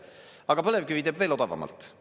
Aga põlevkivi teeb veel odavamalt.